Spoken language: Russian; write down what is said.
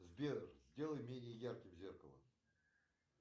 сбер сделай менее ярким зеркало